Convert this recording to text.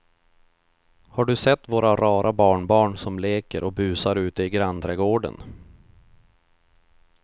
Har du sett våra rara barnbarn som leker och busar ute i grannträdgården!